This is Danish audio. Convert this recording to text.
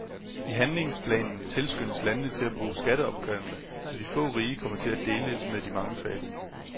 I handlingsplanen tilskyndes landene til at bruge skatteopkrævning, så de få rige kommer til at dele med de mange fattige.